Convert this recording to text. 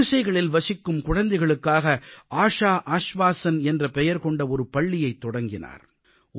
அவர் குடிசைகளில் வசிக்கும் குழந்தைகளுக்காக ஆஷா ஆஷ்வாஸன் என்ற பெயர் கொண்ட ஒரு பள்ளியைத் தொடங்கினார்